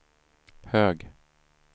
hög